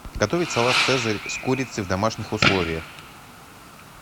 готовить салат цезарь с курицей в домашних условиях